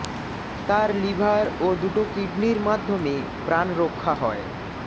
তার লিভার ও দুটো কিডনির মাধ্য়মে প্রাণ রক্ষা হয়